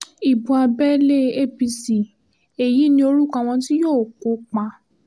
ibo abẹ́lé apc l èyí ní orúkọ àwọn tí yóò kópa